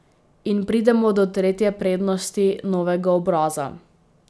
In pridemo do tretje prednosti novega obraza.